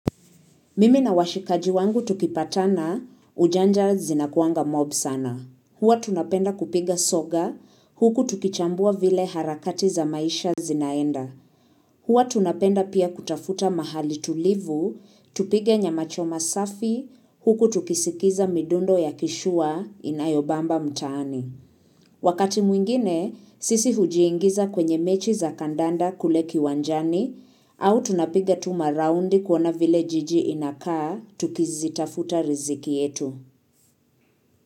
Mimi na washikaji wangu tukipatana ujanja zinakuanga mob sana. Huwa tunapenda kupiga soga, huku tukichambua vile harakati za maisha zinaenda. Huwa tunapenda pia kutafuta mahali tulivu, tupige nyamachoma safi, huku tukisikiza midundo ya kishua inayobamba mtaani. Wakati mwingine, sisi hujiingiza kwenye mechi za kandanda kule kiwanjani au tunapiga tu maraundi kuona vile jiji inakaa tukizitafuta riziki yetu.